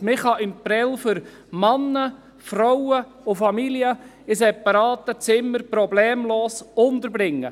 Man kann in Prêles Männer, Frauen und Familien in separaten Zimmern problemlos unterbringen.